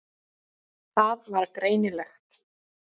Það var greinilegt.